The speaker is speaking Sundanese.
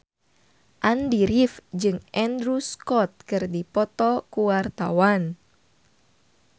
Andy rif jeung Andrew Scott keur dipoto ku wartawan